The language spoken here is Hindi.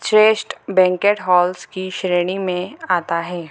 श्रेष्ठ बैंकेट हॉल्स की श्रेणी में आता है।